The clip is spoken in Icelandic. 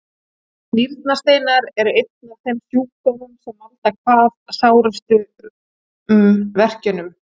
Nýrnasteinar eru einn af þeim sjúkdómum sem valda hvað sárustum verkjum.